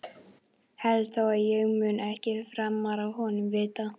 Held þá að ég muni ekkert framar af honum vita.